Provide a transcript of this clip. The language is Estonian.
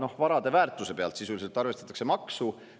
–, ja varade väärtuse järgi sisuliselt arvestatakse maksu.